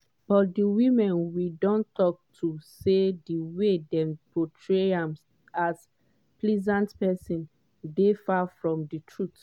but di women we don tok to say di way dem portray am as pleasant pesin dey far from di truth.